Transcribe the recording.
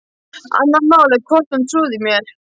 Annað mál er hvort hún trúði mér.